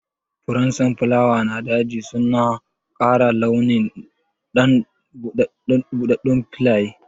Furen sonfulawa na daji suna ƙara launi don buɗɗaɗɗun filaye.